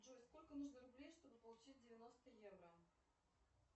джой сколько нужно рублей чтобы получить девяносто евро